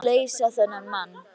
Hún verður að leysa þennan mann.